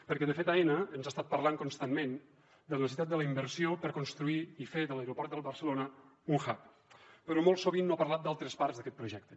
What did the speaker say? perquè de fet aena ens ha estat parlant constantment de la necessitat de la inversió per construir i fer de l’aeroport de barcelona un hub però molt sovint no ha parlat d’altres parts d’aquest projecte